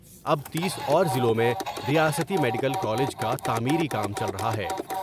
اب تیس اور ضلعوں میں ریاستی میڈیکل کالج کا تعمیری کام چل رہا ہے۔